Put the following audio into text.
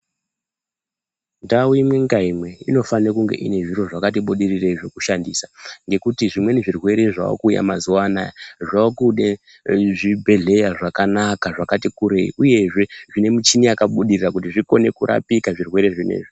Ndau imwe ngaimwe inofane kunge ine zviro zvakati budirirei zvekushandisa, ngekuti zvimweni zvirwere zvaakuuya mazuwa anaya, zvaakude zvibhedhleya zvakanaka zvakati kurei, uyezve zvine michini yakabudirira kuti zvikone kurapika zvirwere zvinezvi.